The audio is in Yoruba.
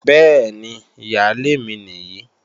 Bẹ́ẹ̀ni, ìyálé mi nìyí